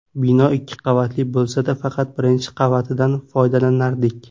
Bino ikki qavatli bo‘lsa-da, faqat birinchi qavatidan foydalanardik.